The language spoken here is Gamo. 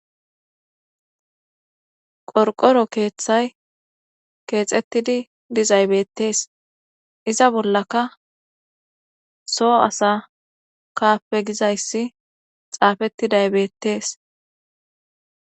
qorqoro keeththay keexettidi dizaybettees iza bollaka soo asa kaappe gizayssi xaafettidaybeettees